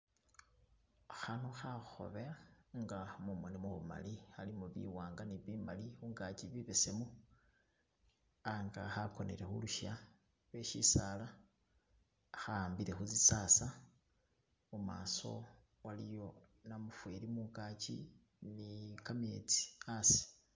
Khano kha khobe nga mumoni mumali khalimo biwanga ne bimali khungaki bibesemu anka khakonele khulusya lwe shisala kha ambile khu sisasa, mumaso waliyo namufeli mungaki ni kametsi asi.